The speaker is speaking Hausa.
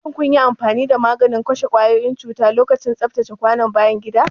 Shin kun yi amfani da maganin kashe kwayoyin cuta lokacin tsaftace kwanon bayan gida?